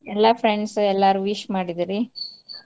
ಎಲ್ಲಾ friends ಎಲ್ಲಾರೂ wish ಮಾಡಿದ್ರ ರೀ .